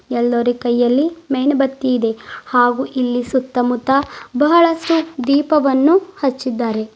ಎಲ್ಲರ ಕೈಯಲ್ಲಿ ಮೇಣಬತ್ತಿ ಇದೆ ಹಾಗು ಇಲ್ಲಿ ಸುತ್ತಮುತ್ತ ಬಹಳಷ್ಟು ದೀಪವನ್ನು ಹಚ್ಚಿದ್ದಾರೆ.